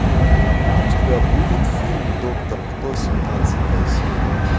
у тебя будет фильм доктор кто семнадцатая серия